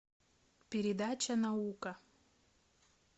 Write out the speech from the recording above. передача наука